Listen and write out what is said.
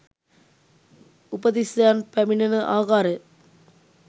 උපතිස්සයන් පැමිණෙන ආකාරය